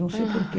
Não sei porquê.